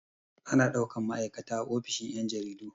Ana ɗaukan ma'aikata a ofishin yan' jaridu.